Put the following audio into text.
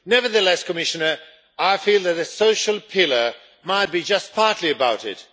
Nevertheless, Commissioner, I feel that a social pillar might be just partly about it.